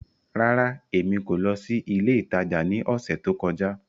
Rárá, Emi ko lọ si ile itaja ni ọsẹ to kọja.